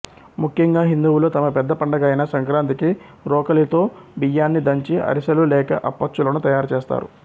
ముఖ్యంగా హిందువులు తమ పెద్ద పండగ అయిన సంక్రాంతికి రోకలితో బియ్యాన్ని దంచి అరిసెలు లేక అప్పచ్చులను తయారు చేస్తారు